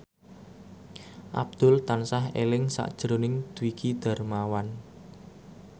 Abdul tansah eling sakjroning Dwiki Darmawan